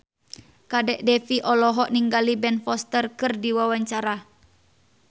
Kadek Devi olohok ningali Ben Foster keur diwawancara